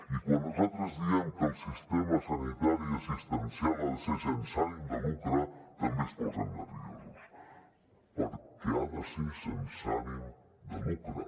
i quan nosaltres diem que el sistema sanitari assistencial ha de ser sense ànim de lucre també es posen nerviosos perquè ha de ser sense ànim de lucre